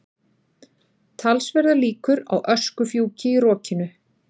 Talsverðar líkur á öskufjúki í rokinu